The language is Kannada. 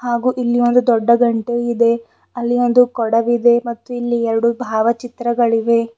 ಹಾಗೂ ಇಲ್ಲಿ ಒಂದು ದೊಡ್ಡ ಗಂಟೆ ಇದೆ ಅಲ್ಲಿ ಒಂದು ಕೊಡವಿದೆ ಮತ್ತು ಇಲ್ಲಿ ಎರಡು ಭಾವಚಿತ್ರಗಳಿವೆ.